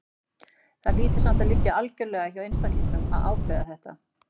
Þetta hlýtur samt að liggja algjörlega hjá einstaklingnum að ákveða þetta.